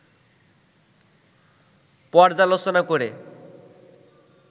পর্যালোচনা করে